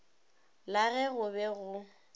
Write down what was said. la ge go be go